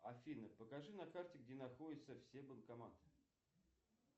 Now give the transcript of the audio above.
афина покажи на карте где находятся все банкоматы